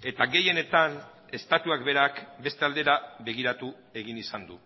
eta gehienetan estatuak berak beste aldera begiratu egin izan du